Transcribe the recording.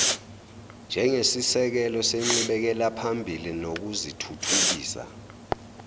njengesisekelo senqubekelaphambili nokuzithuthukisa